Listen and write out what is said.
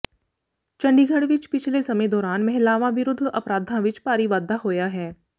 ਚੰਡੀਗੜ੍ਹ ਵਿਚ ਪਿਛਲੇ ਸਮੇਂ ਦੌਰਾਨ ਮਹਿਲਾਵਾਂ ਵਿਰੁੱਧ ਅਪਰਾਧਾਂ ਵਿਚ ਭਾਰੀ ਵਾਧਾ ਹੋਇਆ ਹੈ